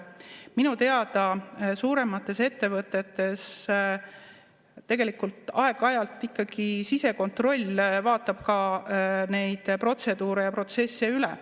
Minu teada suuremates ettevõtetes tegelikult aeg-ajalt ikkagi sisekontroll vaatab ka neid protseduure ja protsesse üle.